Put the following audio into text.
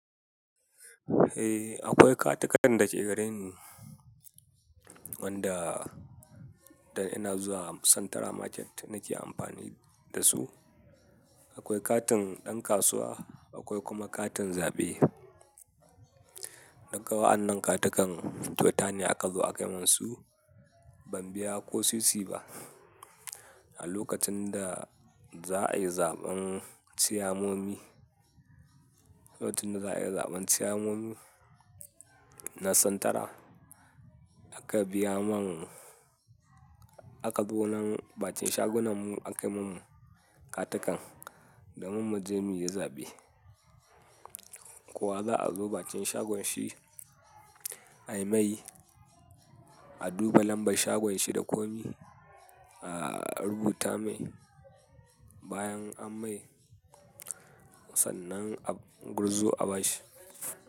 Eh, akwai katakan da ke gareni wanda dan ina zuwa Santara Market nake amfani da su. Akwai katin ɗan kasuwa, akwai kuma katin zaɓe. Daga wa'annan katakan, kyau ta ne aka zo a kai mun su. Ban biya ko sisi ba. A lokacin da za'a yi zaɓen Chiyamomi, lokacin da za'a yi zaɓen Chiyamomi na Santara aka biya man, aka zo nan bakin shagunan mu aka kai mun katakan do mun muje muyi zaɓe. Ko wa za'a zo bakin shagon shi ayimai, a duba lambar shagon shi da komai, a rubuta mai bayan an mai sannan a gurzo a bashi.